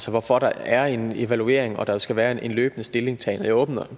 hvorfor der er en evaluering og hvorfor der skal være en løbende stillingtagen det åbner